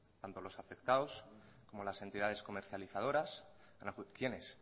tanto los afectados como las entidades comercializadoras quiénes